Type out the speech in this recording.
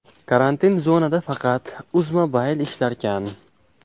Karantin zonada faqat Uzmobile ishlarkan.